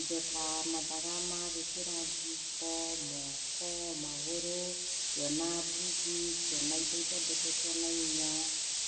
indo ta mathaga ma gwĩkĩra ngingo, moko, magũrũ ngĩona mbugi, ngĩona indo ithondeketwo na inya,